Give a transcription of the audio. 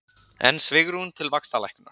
Enn svigrúm til vaxtalækkunar